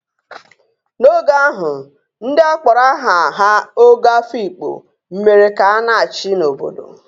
N'oge ahụ, ndị a kpọrọ aha ha Ogo Afikpo mere ka a na-achị n'obodo.